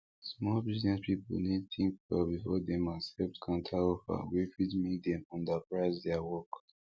small business people need think well before dem accept counteroffer wey fit make dem underprice their work